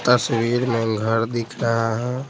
तस्वीर में घर दिख रहा है।